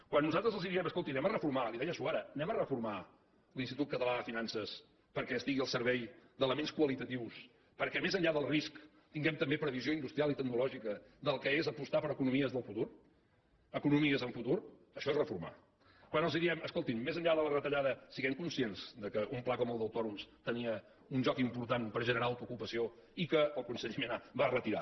quan nosaltres els diem escoltin anem a reformar li ho deia suara l’institut català de finances perquè estigui al servei d’elements qualitatius perquè més enllà del risc tinguem també previsió industrial i tecnològica del que és apostar per economies del futur economies amb futur això és reformar quan els diem escoltin més enllà de la retallada siguem conscients que un pla com el d’autònoms tenia un joc important per generar autoocupació i que el conseller mena el va retirar